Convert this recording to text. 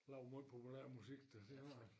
Lavet måj populær musik da det har han